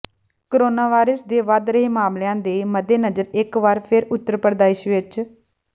coronavirus ਦੇ ਵੱਧ ਰਹੇ ਮਾਮਲਿਆਂ ਦੇ ਮੱਦੇਨਜ਼ਰ ਇਕ ਵਾਰ ਫਿਰ ਉੱਤਰ ਪ੍ਰਦੇਸ਼ ਵਿਚ